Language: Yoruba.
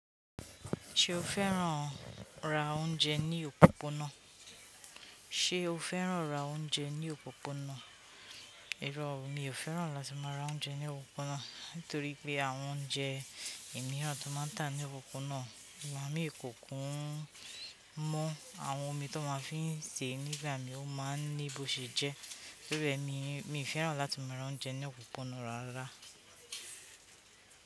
Se o fẹ́ràn ran oúnjẹ ni òpópónà. Ṣé o fẹ́ràn ra oúnjẹ ní òpópónà? Irọ́, mi ò fẹ́ràn láti máa ra oúnjẹ ní òpópónà. Nítorí pé àwọn oúnjẹ ìmíràn tó máa ń tà ní òpópónà, ìgbà mii kókun ń mọ́ àwọn omi tan máa ń fi ń sè e nígbà mí ó máa ń ní bó ṣe jẹ. Torí re mi, mi fẹ́ràn láti máa ra oúnjẹ ní òpópónà rárára.